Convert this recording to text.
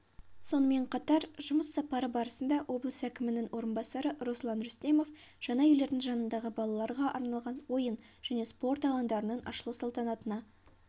сонымен қатар жұмыс сапары барысында облыс әкімінің орынбасары руслан рүстемов жаңа үйлердің жанындағы балаларға арналған ойын және спорт алаңдарының ашылу салтанатына